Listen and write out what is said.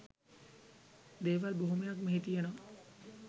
දේවල් බොහොමයක් මෙහි තියෙනවා.